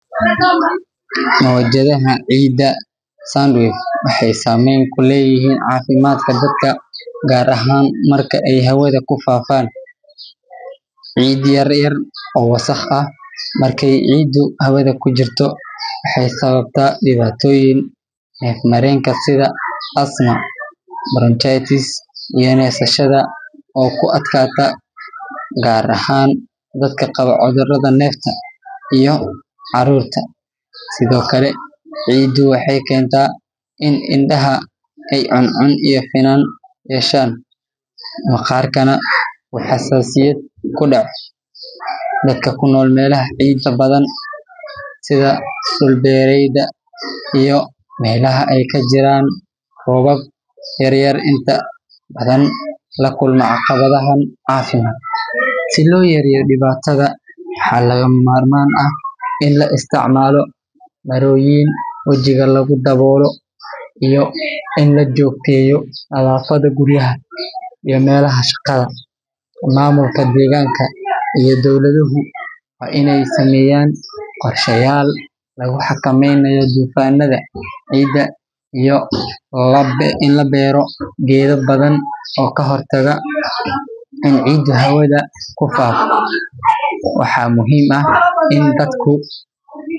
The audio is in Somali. Mojadhaha cida waxee samen kuleyihin cafimaadka dadka gar ahan marki ee hawadha kufafan cid yar yar ee wasaq ah marki cidu hawadha kujirto waxee sawabta diwatoyin nef marenka sitha asma parachutist iyo nefsashaada oo ku adkata gar ahan dadka qawo cudhuraada nefta iyo carurta, sithokale cidu waxee kenta in indaha cun cun yeshan maqarkana waa xasasiyaad kudaco dadka kunol inta badan meelaha cida badan sitha dul bereyda iyo melaha ee jiran rowab yar yar inta lakumin caqawadhahan si lo yareyo diwataada waxaa laga mamar man ah in la isticmalo dawolyin wajiga lagu dawolo iyo in lajogteyo badhafaada guriyaha iyo meelaha shaqadha ama mamulka deganka iyo dowlaadahu waa in ee sameyan qorsheyal lagu xakameynayo dufanadha cida iyo in labero geedo badan oo ka hortaga cida hawadha kutala, waxaa muhiim ah in dadku.